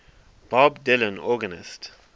bob dylan organist